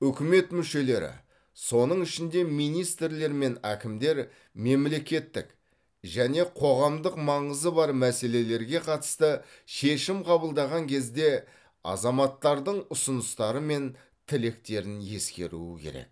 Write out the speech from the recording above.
үкімет мүшелері соның ішінде министрлер мен әкімдер мемлекеттік және қоғамдық маңызы бар мәселелерге қатысты шешім қабылдаған кезде азаматтардың ұсыныстары мен тілектерін ескеруі керек